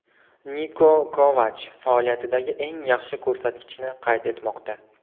Niko Kovach faoliyatidagi eng yaxshi ko‘rsatkichni qayd etmoqda.